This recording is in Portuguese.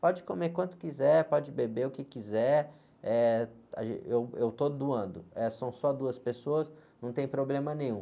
Pode comer quanto quiser, pode beber o que quiser, eh, eu, eu estou doando, eh, são só duas pessoas, não tem problema nenhum.